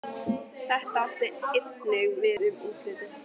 Það átti einnig við um útlitið.